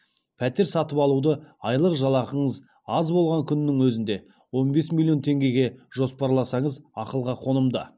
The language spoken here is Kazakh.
пәтер сатып алуды айлық жалақыңыз аз болған күннің өзінде он бес миллион теңгеге жоспарласаңыз ақылға қонымды